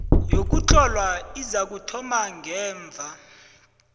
yokuhlolwa izakuthoma ngemva